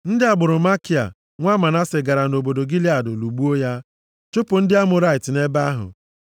Ndị agbụrụ Makia, nwa Manase gara nʼobodo Gilead lụgbuo ya, chụpụ ndị Amọrait bi nʼebe ahụ.